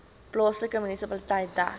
plaaslike munisipaliteit dek